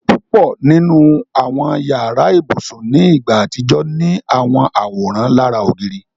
Púpọ̀ nínu awọn yàrà-íbusùn ni ìgbà atijọ̀ ni awọn àwóran lárà ogìrì.